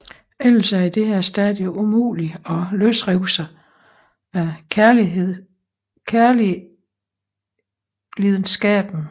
Ellers er det på dette stadie umuligt at løsrive sig af kærlidenskaben